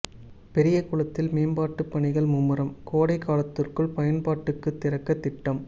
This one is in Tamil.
பெரியகுளத்தில் மேம்பாட்டுப் பணிகள் மும்முரம் கோடைக் காலத்துக்குள் பயன்பாட்டுக்குத் திறக்க திட்டம்